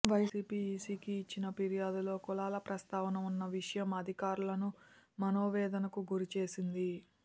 YCP ఈసీకి ఇచ్చిన ఫిర్యాదులో కులాల ప్రస్తావన ఉన్న విషయం అధికారులను మనోవేదనకు గురిచేసింది